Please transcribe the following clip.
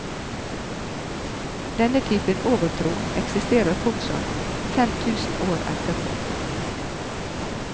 Denne typen overtro eksisterer fortsatt, fem tusen år etterpå.